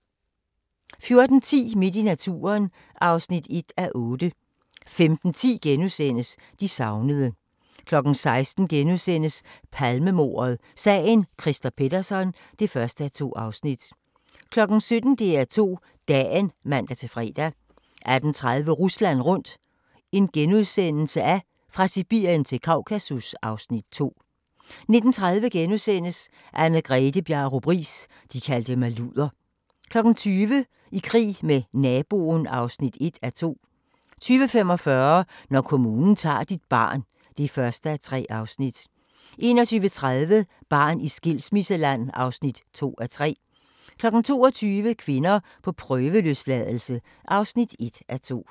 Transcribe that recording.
14:10: Midt i naturen (1:8) 15:10: De savnede * 16:00: Palmemordet: Sagen Christer Pettersson (1:2)* 17:00: DR2 Dagen (man-fre) 18:30: Rusland rundt – fra Sibirien til Kaukasus (Afs. 2)* 19:30: Anne-Grethe Bjarup Riis – de kaldte mig luder * 20:00: I krig med naboen (1:2) 20:45: Når kommunen tager dit barn (1:3) 21:30: Barn i skilsmisseland (2:3) 22:00: Kvinder på prøveløsladelse (1:2)